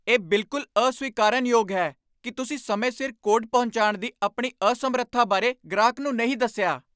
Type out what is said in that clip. ਇਹ ਬਿਲਕੁਲ ਅਸਵੀਕਾਰਨਯੋਗ ਹੈ ਕਿ ਤੁਸੀਂ ਸਮੇਂ ਸਿਰ ਕੋਡ ਪਹੁੰਚਾਉਣ ਦੀ ਆਪਣੀ ਅਸਮਰੱਥਾ ਬਾਰੇ ਗ੍ਰਾਹਕ ਨੂੰ ਨਹੀਂ ਦੱਸਿਆ।